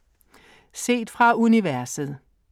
Set fra universet